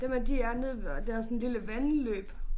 Dem her de er nede ved og det også sådan lille vandløb